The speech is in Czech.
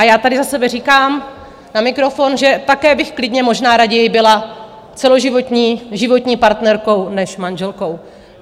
A já tady za sebe říkám na mikrofon, že také bych klidně možná raději byla celoživotní, životní partnerkou než manželkou.